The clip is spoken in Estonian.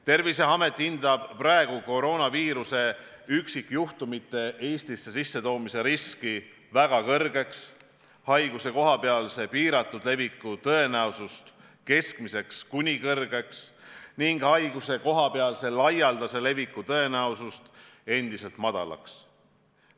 Terviseamet hindab koroonaviiruse üksikjuhtumite Eestisse sissetoomise riski väga kõrgeks, haiguse kohapealse piiratud leviku tõenäosust keskmiseks kuni kõrgeks ning haiguse kohapealse laialdase leviku tõenäosust endiselt madalaks.